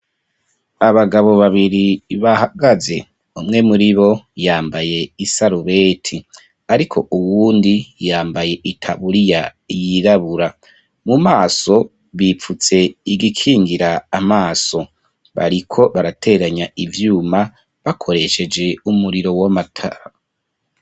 Abagabo babiri bahagaze umwe muri bo yambaye isarubeti ariko uwundi yambaye itabuRiya yirabura mu maso bipfutse igikingira amaso bariko barateranya ivyuma bakoresheje umuriro w'amatara.